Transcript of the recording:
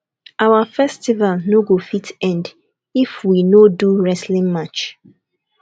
our festival no go fit end if we no do wrestling match